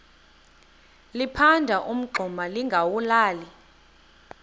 liphanda umngxuma lingawulali